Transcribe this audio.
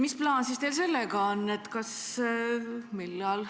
Mis plaan teil siis sellega on?